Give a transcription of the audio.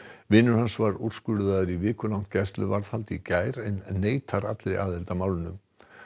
vinur hans var úrskurðaður í vikulangt gæsluvarðhald í gær en neitar allri aðild að málinu